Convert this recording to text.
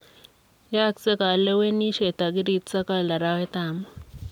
Yoosek kalewenisiet tariki sogol arawet ab muut.